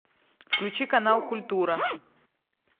включи канал культура